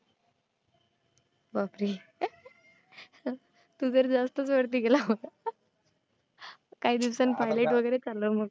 बापरे. तू तर जास्तच वरती गेला. काही दिवसानं Pilot वैगैरे चालव मग.